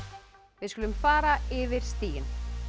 við skulum fara yfir stigin